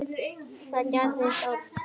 Og það gerðist oft.